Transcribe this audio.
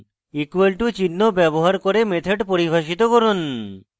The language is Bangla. = চিহ্ন ব্যবহার করে method পরিভাষিত করুন